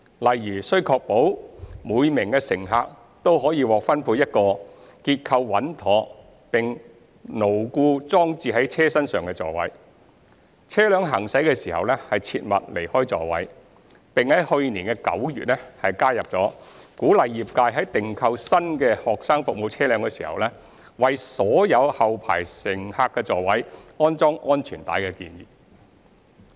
例如須確保每名乘客均獲分配一個結構穩妥並牢固裝置在車身上的座位、車輛行駛時切勿離開座位，並於去年9月加入鼓勵業界在訂購新的學生服務車輛時，為所有後排乘客座位安裝安全帶的建議。